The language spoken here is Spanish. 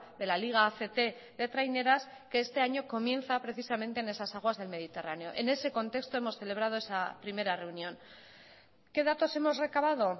de la liga act de traineras que este año comienza precisamente en esas aguas del mediterráneo en ese contexto hemos celebrado esa primera reunión qué datos hemos recabado